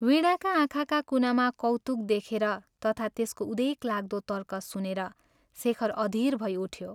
वीणाका आँखाका कुनामा कौतुक देखेर तथा त्यसको उदेकलाग्दो तर्क सुनेर शेखर अधीर भै उठ्यो।